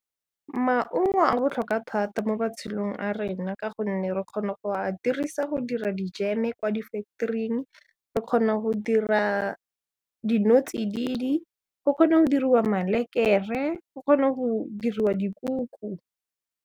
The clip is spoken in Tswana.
Maungo a botlhokwa thata mo matshelong a rena ka gonne re kgona go a dirisa go dira dijeme kwa di factory-ing, re kgona go dira dino-tsididi, go kgona go diriwa malekere, go kgona go diriwa dikuku.